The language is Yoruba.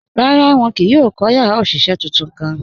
Rárá, wọn kìí yóò kọ́ yàrá oṣiṣẹ́ tuntun kàn.